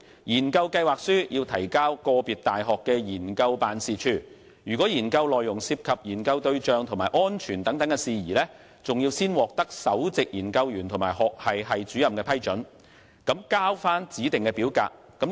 研究計劃書須提交個別大學的研究辦事處，若研究內容涉及研究對象及安全事宜，須先獲首席研究員及學系系主任批准，並須交回指定表格。